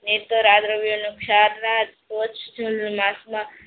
ને તો રાદ્રવ્ય નું